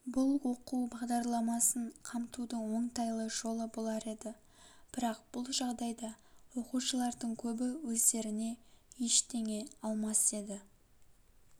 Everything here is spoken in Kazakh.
бұл оқу бағдарламасын қамтудың оңтайлы жолы болар еді бірақ бұл жағдайда оқушылардың көбі өздеріне ештеңе алмас еді